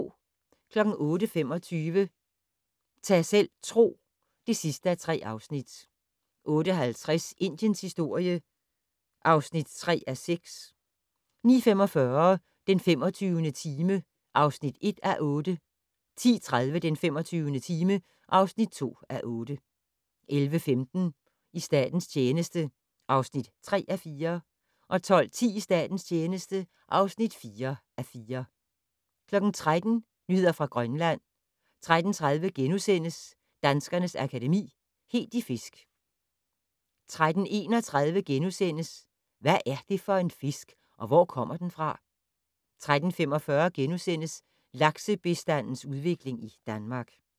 08:25: Ta' selv tro (3:3) 08:50: Indiens historie (3:6) 09:45: Den 25. time (1:8) 10:30: Den 25. time (2:8) 11:15: I statens tjeneste (3:4) 12:10: I statens tjeneste (4:4) 13:00: Nyheder fra Grønland 13:30: Danskernes Akademi: Helt i fisk * 13:31: Hvad er det for en fisk, og hvor kommer den fra? * 13:45: Laksebestandens udvikling i Danmark *